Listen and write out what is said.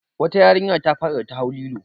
Wata yarinya ta faɗi da ta hau lilo.